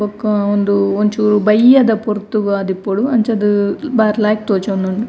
ಬೊಕ್ಕ ಉಂದು ಒಂಚೂರು ಬಯ್ಯದ ಪೊರ್ತುಗಾದಿಪ್ಪೊಡು ಅಂಚಾದ್ ಬಾರಿ ಲಾಯ್ಕ್ ತೋಜೊಂದುಂಡು.